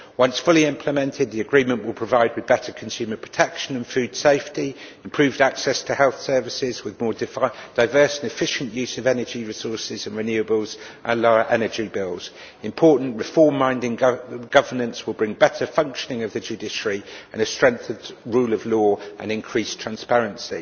Once fully implemented, the agreement will provide for better consumer protection and food safety, improved access to health services, with more diverse and efficient use of energy resources and renewables, and lower energy bills. Important reform minded governance will bring better functioning of the judiciary and a strengthened rule of law and increased transparency.